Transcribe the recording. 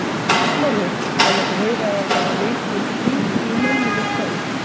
Snorri, það mátti heyra að það var mikill hiti í mönnum í kvöld?